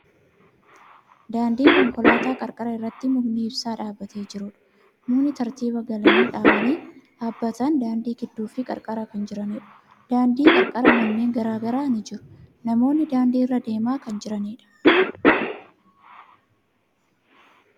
Daandii konkolaataa qarqara irratti mukni ibsaa dhaabbatee jiruudha. Mukkeen tartiiba galanii dhaabbatan, daandii gidduu fi qarqara kan jiraniidha. Daandii qarqara manneen garagaraa ni jiru. Namoonni daandii irra deemaa kan jiraniidha.